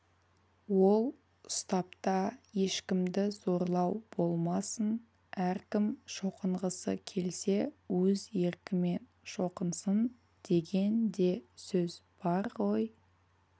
ол ұстапта ешкімді зорлау болмасын әркім шоқынғысы келсе өз еркімен шоқынсын деген де сөз бар ғой